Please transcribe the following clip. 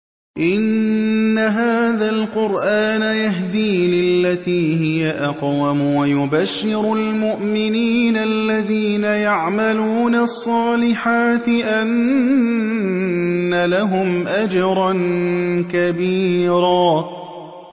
إِنَّ هَٰذَا الْقُرْآنَ يَهْدِي لِلَّتِي هِيَ أَقْوَمُ وَيُبَشِّرُ الْمُؤْمِنِينَ الَّذِينَ يَعْمَلُونَ الصَّالِحَاتِ أَنَّ لَهُمْ أَجْرًا كَبِيرًا